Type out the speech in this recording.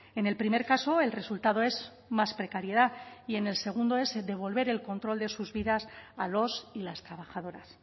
en el primer caso el resultado es más precariedad y en el segundo es devolver el control de sus vidas a los y las trabajadoras